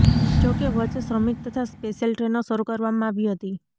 જોકે વચ્ચે શ્રમિક તથા સ્પેશિયલ ટ્રેનો શરુ કરવામાં આવી હતી